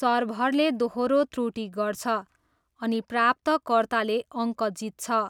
सर्भरले दोहोरो त्रुटि गर्छ, अनि प्राप्तकर्ताले अङ्क जित्छ।